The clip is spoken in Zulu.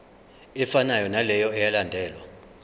efanayo naleyo eyalandelwa